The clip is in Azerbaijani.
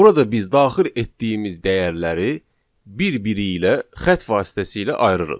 Burada biz daxil etdiyimiz dəyərləri bir-biri ilə xətt vasitəsilə ayırırıq.